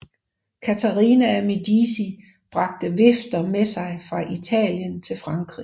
Katharina af Medici bragte vifter med sig fra Italien til Frankrig